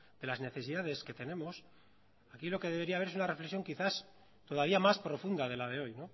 de las necesidades que tenemos aquí lo que debería haber es una reflexión quizás todavía más profunda de la de hoy